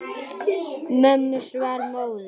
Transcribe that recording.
Mönnum svall móður.